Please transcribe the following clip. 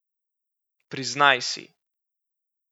Priznaj si!